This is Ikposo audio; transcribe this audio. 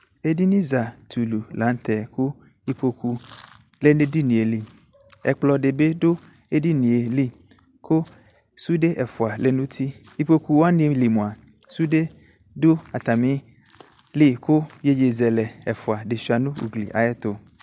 Edini za tulu lantɛ ko ukpoku lɛ nɛ edinie li, Ɛkplɔ de be do edinie li ko sude ɛfus lɛ no uti Ikpoku wane li moa sude do atame li ko yeyezɛlɛ ɛfua de sua no ugli ayeto